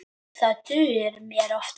Það dugir mér oftast.